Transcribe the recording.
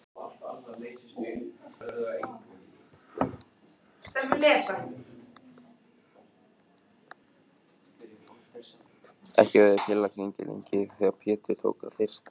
Ekki höfðu þeir félagar gengið lengi þegar Pétur tók að þyrsta.